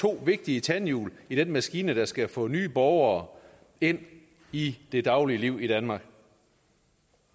to vigtige tandhjul i den maskine der skal få nye borgere ind i det daglige liv i danmark